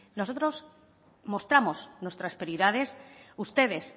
nosotros mostramos nuestras prioridades ustedes